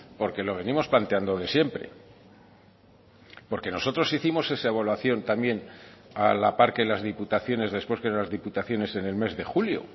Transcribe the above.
porque lo venimos planteando de siempre porque nosotros hicimos esa evaluación también a la par que las diputaciones después que las diputaciones en el mes de julio